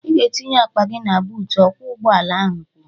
Ị ga-etinye akpa gị na buut"" ọkwọ ụgbọ ala ahụ kwuru